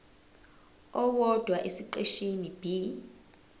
owodwa esiqeshini b